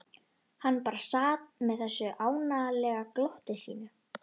Hann bara sat með þessu ánalega glotti sínu.